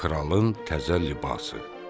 Kralın təzə libası.